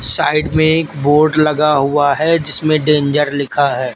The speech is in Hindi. साइड में एक बोर्ड लगा हुआ है जिसमें डेंजर लिखा है।